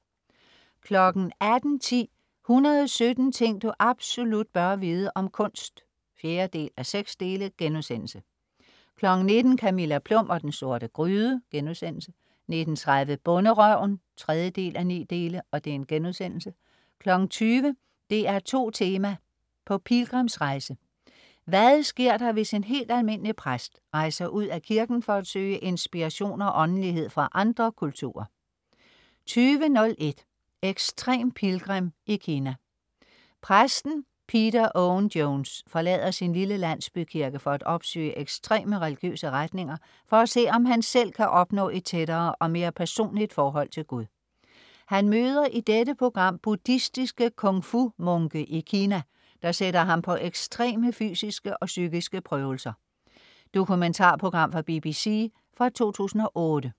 18.10 117 ting du absolut bør vide om kunst 4:6* 19.00 Camilla Plum og den sorte gryde* 19.30 Bonderøven 3:9* 20.00 DR2 Tema: På Pilgrimsrejse. Hvad sker der hvis en helt almindelig præst rejser ud af kirken for at søge inspiration og åndelighed fra andre kulturer? 20.01 Ekstrem pilgrim i Kina. Præsten Peter Owen Jones forlader sin lille landsbykirke for at opsøge ekstreme religiøse retninger for at se, om han selv kan opnå et tættere og mere personligt forhold til Gud. Han møder i dette program buddhistiske Kung-Fu munke i Kina, der sætter ham på ekstreme fysiske og psykiske prøvelser. Dokumentarprogram fra BBC fra 2008